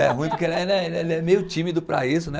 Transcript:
É ruim porque ele é, ele é é meio tímido para isso, né?